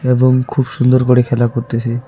এবং খুব সুন্দর করে খেলা করতেসে।